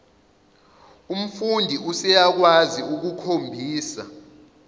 umfundi useyakwazi ukukhombisa